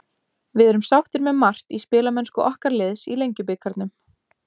Við erum sáttir með margt í spilamennsku okkar liðs í Lengjubikarnum.